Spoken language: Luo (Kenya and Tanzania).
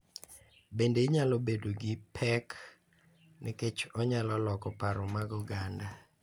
Bende nyalo bedo gi pek nikech onyalo loko paro mar oganda